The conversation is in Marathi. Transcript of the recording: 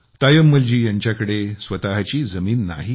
तायम्मल जी यांच्याकडे स्वतःची जमीन नाही